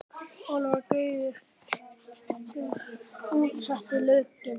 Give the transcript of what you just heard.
Ólafur Gaukur útsetti lögin.